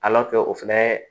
o fɛnɛ